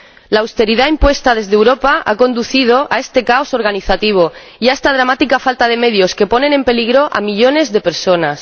la austeridad impuesta desde Europa ha conducido a este caos organizativo y a esta dramática falta de medios que ponen en peligro a millones de personas.